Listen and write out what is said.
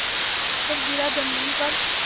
आकर गिरा ज़मीन पर